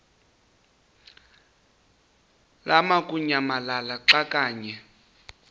lamukunyamalala xa kanye